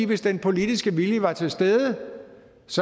hvis den politiske vilje var til stede